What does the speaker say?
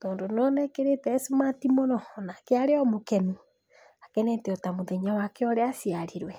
tondũ nĩ wona ekĩrĩte esmati mũno onake aro mũkenu, akenete ota mũthenya wake ũrĩa aciarirwe.